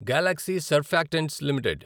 Galaxy Surfactants limited